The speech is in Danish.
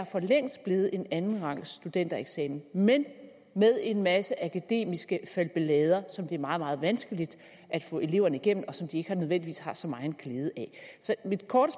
for længst er blevet en andenrangsstudentereksamen men med en masse akademiske falbelader som det er meget meget vanskeligt at få eleverne igennem og som de ikke nødvendigvis har så megen glæde af så mit korte